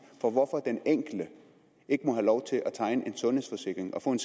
på hvorfor den enkelte ikke må have lov til at tegne en sundhedsforsikring og få en